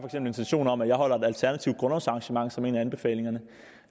en intention om at afholde et alternativ grundlovsarrangement som er en af anbefalingerne